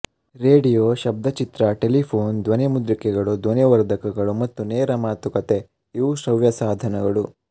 radio ಶಬ್ದಚಿತ್ರ telephone ಧ್ವನಿಮುದ್ರಿಕೆಗಳು ಧ್ವನಿವರ್ಧಕಗಳು ಮತ್ತು ನೇರ ಮಾತುಕತೆ ಇವು ಶ್ರವ್ಯ ಸಾಧನಗಳು